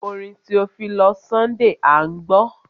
Orin Theophilus Sunday à ń gbọ́.